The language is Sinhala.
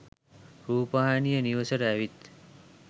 රූපවාහිනිය නිවසට ඇවිත්